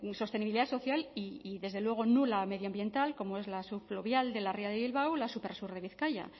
dudosa sostenibilidad social y desde luego nula medioambiental como es la subfluvial de la ría de bilbao la supersur de bizkaia